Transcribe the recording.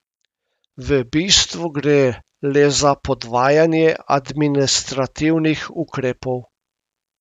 V bistvu gre le za podvajanje administrativnih ukrepov ...